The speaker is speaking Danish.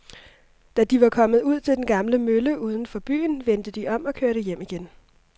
Da de var kommet ud til den gamle mølle uden for byen, vendte de om og kørte hjem igen.